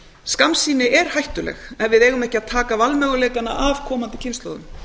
skammsýni er hættuleg ef við eigum ekki að taka valmöguleikana af komandi kynslóðum